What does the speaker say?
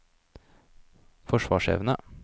forsvarsevne